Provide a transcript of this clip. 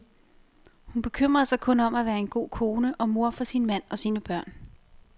Hun bekymrede sig kun om at være en god kone og mor for sin mand og sine børn.